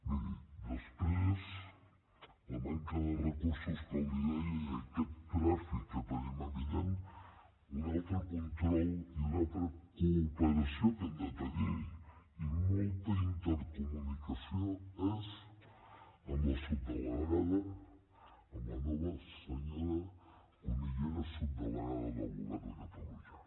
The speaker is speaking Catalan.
miri després de la manca de recursos com li deia i aquest tràfic que tenim evident un altre control i una altra cooperació que hem de tenir i molta intercomunicació és amb la subdelegada amb la nova senyora cunillera subdelegada del govern a catalunya